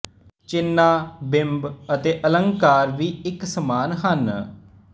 ਚਿੰਨ੍ਹਾਂ ਬਿੰਬ ਤੇ ਅਲੰਕਾਰ ਵੀ ਇੱਕ ਸਮਾਨ ਹਨ